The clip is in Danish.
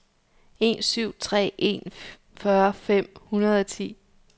en syv tre en fyrre fem hundrede og ti